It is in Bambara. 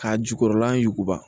Ka jukɔrɔla yuguba